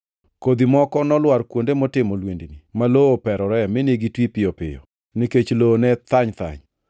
Kodhi moko nolwar kuonde motimo lwendni, ma lowo operoree mine gitwi piyo piyo, nikech lowo ne thany thany.